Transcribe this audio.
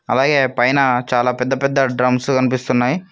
అలాగే పైన చాలా పెద్ద పెద్ద డ్రమ్స్ కనిపిస్తున్నాయ్.